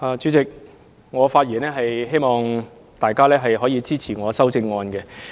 主席，我發言呼籲大家支持我的修正案。